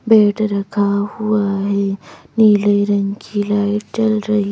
Bed रखा हुआ है नीले रंग की लाइट जल रही है।